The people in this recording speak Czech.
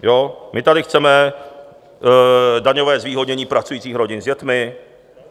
My tady chceme daňové zvýhodnění pracujících rodin s dětmi.